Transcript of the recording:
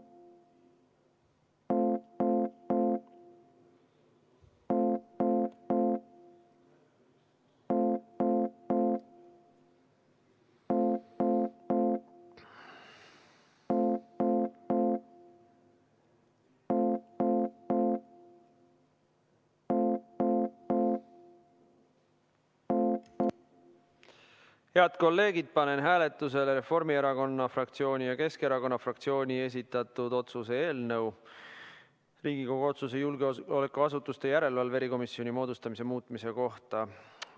Head kolleegid, panen hääletusele Reformierakonna fraktsiooni ja Keskerakonna fraktsiooni esitatud Riigikogu otsuse "Riigikogu otsuse "Julgeolekuasutuste järelevalve erikomisjoni moodustamine" muutmine" eelnõu.